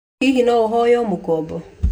Hihi no ũhonywo mũkombo?